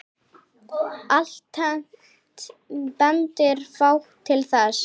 Alltént bendir fátt til þess.